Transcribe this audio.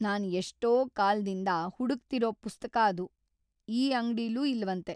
ನಾನ್ ಎಷ್ಟೋ ಕಾಲ್ದಿಂದ ಹುಡುಕ್ತಿರೋ ಪುಸ್ತಕ‌ ಅದು ಈ ಅಂಗ್ಡಿಲೂ ಇಲ್ವಂತೆ.